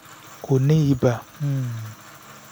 kò ní ibà um